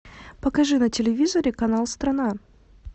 покажи на телевизоре канал страна